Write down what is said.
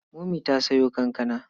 Momi ta sayo kankana.